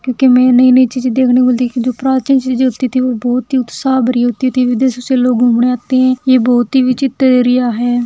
क्योंकि में नई-नई चीजे देखने को मिलती क्यों प्राचीन चीजे जो होती थी वह बहुत ही उत्साह भरी होती थी विदेशो से लोग घूमने आते हैं यह बहुत ही विचित्र एरिया है।